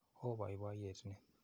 Oo poipoiyet ni.